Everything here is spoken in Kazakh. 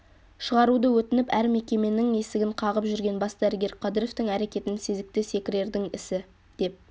шығаруды өтініп әр мекеменің есігін қағып жүрген бас дәрігер қадыровтің әрекетін сезікті секірердің ісі деп